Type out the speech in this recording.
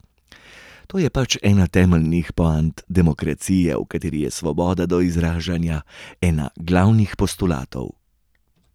To je pač ena temeljnih poant demokracije, v kateri je svoboda do izražanja ena glavnih postulatov.